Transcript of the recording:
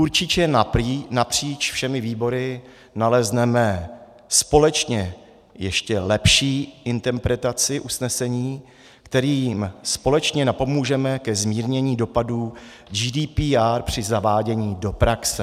Určitě napříč všemi výbory nalezneme společně ještě lepší interpretaci usnesení, kterým společně napomůžeme ke zmírnění dopadů GDPR při zavádění do praxe.